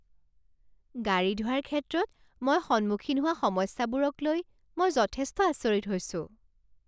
গাড়ী ধোৱাৰ ক্ষেত্ৰত মই সন্মুখীন হোৱা সমস্যাবোৰক লৈ মই যথেষ্ট আচৰিত হৈছোঁ।